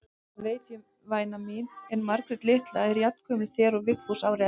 Það veit ég væna mín, en Margrét litla er jafngömul þér og Vigfús ári eldri.